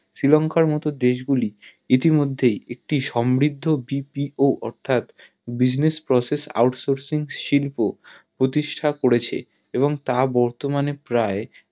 শ্রী লংকার মতো দেশ গুলি ইতি মধ্যেই একটি সমৃদ্ধ BPO অর্থাৎ Business Processing out sourcing শিল্প প্রতিষ্টা করেছে এবং তা বর্তমানে প্রায়